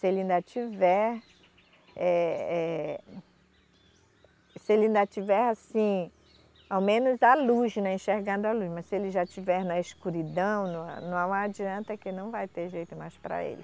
Se ele ainda tiver, eh, eh, se ele ainda tiver, assim, ao menos a luz, né, enxergando a luz, mas se ele já estiver na escuridão, no a, não adianta que não vai ter jeito mais para ele.